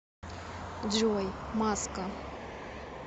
джой маска